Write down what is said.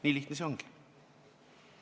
Nii lihtne see ongi.